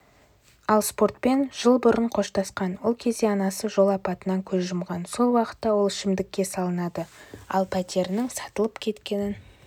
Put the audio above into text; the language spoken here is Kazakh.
ал спортпен жыл бұрын қоштасқан ол кезде анасы жол апатынан көз жұмған сол уақытта ол ішкілікке салынады ал пәтерінің сатылып кеткенін